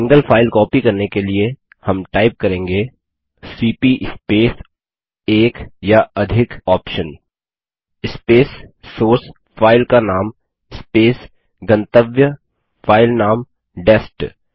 single file copy करने के लिए हम टाइप करेंगे सीपी स्पेस एक या अधिक OPTION स्पेस सोर्स फाइल का नाम स्पेस गंतव्य फाइल नाम डेस्ट